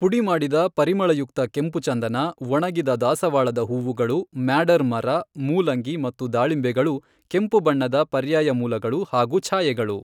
ಪುಡಿಮಾಡಿದ ಪರಿಮಳಯುಕ್ತ ಕೆಂಪು ಚಂದನ, ಒಣಗಿದ ದಾಸವಾಳದ ಹೂವುಗಳು, ಮ್ಯಾಡರ್ ಮರ, ಮೂಲಂಗಿ ಮತ್ತು ದಾಳಿಂಬೆಗಳು ಕೆಂಪು ಬಣ್ಣದ ಪರ್ಯಾಯ ಮೂಲಗಳು ಹಾಗೂ ಛಾಯೆಗಳು.